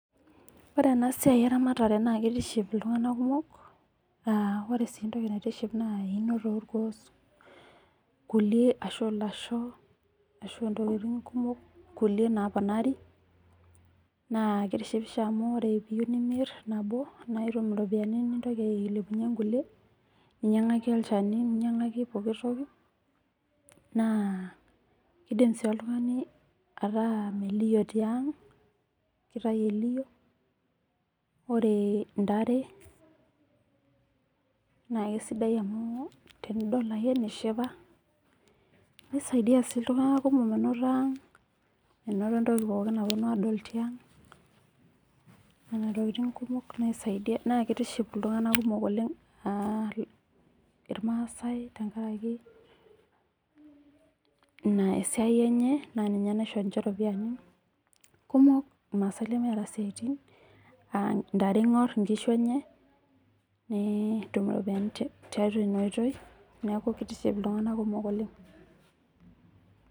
Ore ena siai eramata naa kitiship iltung'ana kumok, aa ore sii entoki naitiship naa einoto oolkuon kuliek ashu aa lasho, ashu aa intokini kumok kuliek naaponari naa kitishipisho amu ore piiyeu nimirr nabo naitum iropiyani nilepunyie inkuliek, ninyang'aki olchani, ninyang'aki pooki toki, naa, iidim sii oltung'ani ataa melio itii ang' kitayu elio ore intare naa kesidai amuu tenidol ake nishipa, nisaidi a sii ltung'ana kumok menoto ang' menoto entoki pookin naponu aadol tiang' nena tokiting' kumok naisaidia naa kitiship iltung'anak kumok oleng' ilmaasae tenkaraki, ina esiai enye naa ninye naisho ninche iropiyani, kumok ilmaasae kumok leemeeta isiatin aa intare iiong'or inkishu enye, netum irropiyani teatua ina oitui neeku kitiship iltung'ana kumok oleng' .